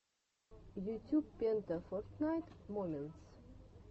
ютюб пента фортнайт моментс